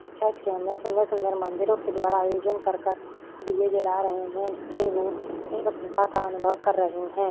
Church के अंदर सुंदर-सुंदर मंदिरों के द्वारा आयोजन कर दिए जला रहें हैं जिससे वह इस प्रसनता का अनुभव कर रहें हैं।